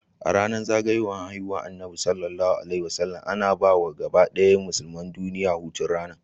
Yanar zagayowar haihuwar annabi SAW ana bawa gabadaya musulmai duniya hutun ranar